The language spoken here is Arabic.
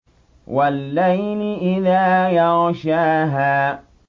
وَاللَّيْلِ إِذَا يَغْشَاهَا